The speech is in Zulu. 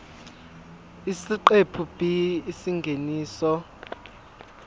isiqephu b isingeniso